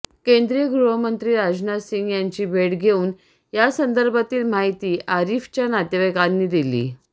केंद्रीय गृहमंत्री राजनाथ सिंह यांची भेट घेऊन यासंदर्भातील माहिती आरिफच्या नातेवाईकांनी दिली